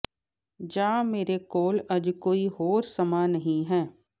ਜਾਂ ਮੇਰੇ ਕੋਲ ਅੱਜ ਕੋਈ ਹੋਰ ਸਮਾਂ ਨਹੀਂ ਹੈ